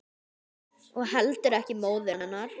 Og heldur ekki móður hennar.